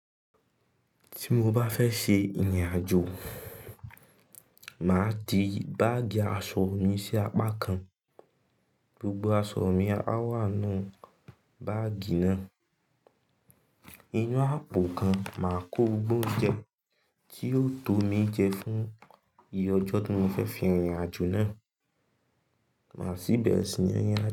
Tí mo bá fẹ́ ṣe ìrìn àjò, mà ti báàgì aṣọ mi sí apá kan. Gbogbo aṣọ mi á wà nú báàgì náà. Inú àpò gan máa kó gbogbo oúnjẹ tí yó tó mi jẹ fún iye ọjọ́ tí mo fẹ́ fi rìn ìrìnàjò náà, máa sì bẹ̀rẹ̀ sí ní.